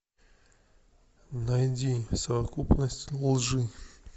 найди совокупность лжи